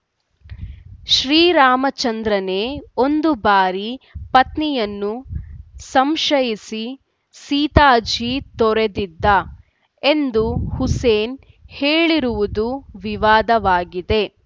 ಶ್ರೀರಾಮಚಂದ್ರನೇ ಒಂದು ಬಾರಿ ಪತ್ನಿಯನ್ನು ಸಂಶಯಿಸಿ ಸೀತಾಜೀ ತೊರೆದಿದ್ದ ಎಂದು ಹುಸೇನ್‌ ಹೇಳಿರುವುದು ವಿವಾದವಾಗಿದೆ